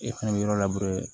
E fɛnɛ bɛ yɔrɔ labɛn